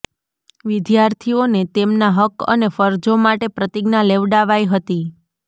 વિદ્યાર્થીઓને તેમના હક્ક અને ફરજો માટે પ્રતિજ્ઞા લેવાડાવાઇ હતી